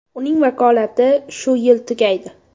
Uning vakolati shu yil tugaydi.